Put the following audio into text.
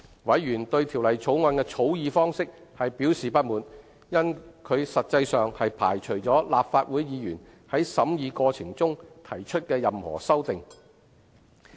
委員對《條例草案》的草擬方式表示不滿，因其實際上排除了立法會議員在審議過程中提出任何修訂。